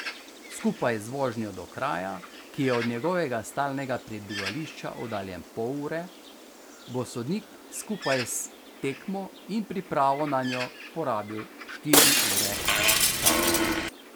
Skupaj z vožnjo do kraja, ki je od njegovega stalnega prebivališča oddaljen pol ure, bo sodnik skupaj s tekmo in pripravo nanjo porabil štiri ure časa.